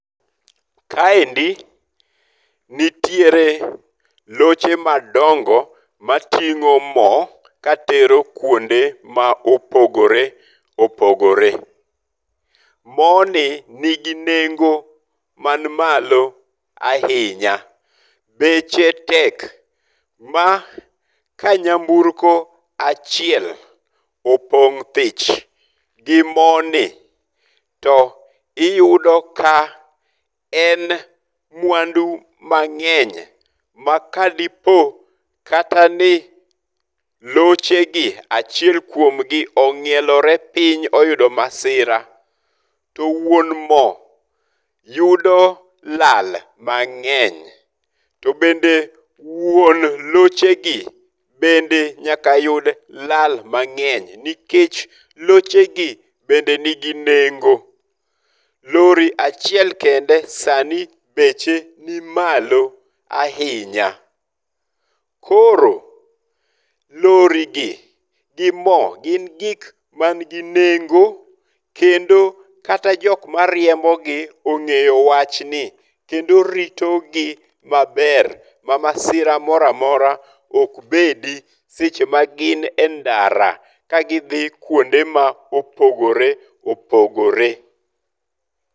Kaendi nitiere loche madongo mating'o mo katero kwonde ma opogore opogore. Mo ni nigi nengo man malo ahinya. Beche tek. Ma ka nyamburko achiel opong' thich gi mo ni to uyudo ka en mwandu mang'eny ma ka dipo kata ni loche gi achiel kuom gi ong'ielore piny oyudo masira, to wuon mo yudo lal mang'eny. To bende wuon loche gi bende nyaka yud lal mang'eny. Nikech loche gi bende nigi nengo. Lori achiel kende sani beche ni malo ahinya. Koro, lori gi gi mo gin gik man gi nengo. Kendo kata jok ma riembogi ong'eyo wach gi kendo rito gi maber ma masira moro amora ok bedi seche ma gin e ndara ga gidhi kuonde ma opogore opogore.